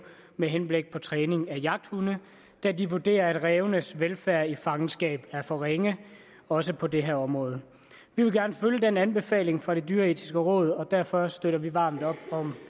med henblik på træning af jagthunde da de vurderer at rævenes velfærd i fangenskab er for ringe også på det her område vi vil gerne følge den anbefaling fra det dyreetiske råd og derfor støtter vi varmt op om